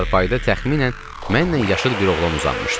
Çarpayıda təxminən mənlə yaşıd bir oğlan uzanmışdı.